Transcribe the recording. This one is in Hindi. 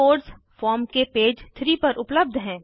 कोड्स फॉर्म के पेज 3 पर उपलब्ध हैं